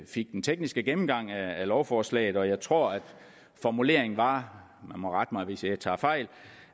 fik den tekniske gennemgang af lovforslaget jeg tror at formuleringen var og man må rette mig hvis jeg tager fejl